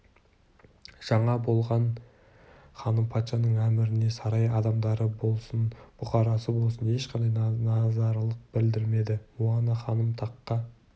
жаңа болған ханым патшаның әміріне сарай адамдары болсын бұқарасы болсын ешқандай наразылық білдірмеді муана ханымның таққа